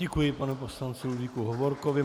Děkuji panu poslanci Ludvíku Hovorkovi.